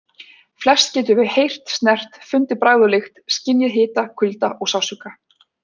Flest getum við heyrt, snert, fundið bragð og lykt, skynjað hita, kulda og sársauka.